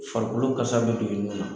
Farikolo kasa bɛ don ɲɔgɔn na.